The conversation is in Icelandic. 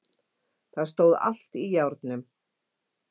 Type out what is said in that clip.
Það stóð allt í járnum.